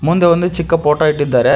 ಮುಂದೆ ಒಂದು ಚಿಕ್ಕ ಫೋಟೋ ಇಟ್ಟಿದ್ದಾರೆ.